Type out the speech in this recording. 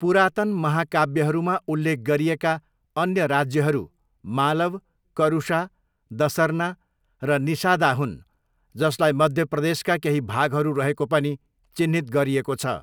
पुरातन महाकाव्यहरूमा उल्लेख गरिएका अन्य राज्यहरू मालव, करुषा, दसर्ना र निषादा हुन् जसलाई मध्य प्रदेशका केही भागहरू रहेको पनि चिह्नित गरिएको छ।